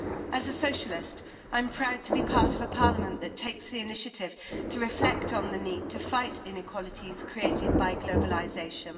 As a socialist, I am proud to be part of a parliament that takes the initiative to reflect on the need to fight inequalities created by globalisation.